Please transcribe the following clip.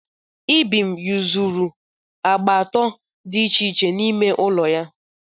Ibim yuzuru agba atọ dị iche iche n'ime ụlọ ya.